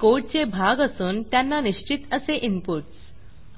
हे कोडचे भाग असून त्यांना निश्चित असे इनपुटस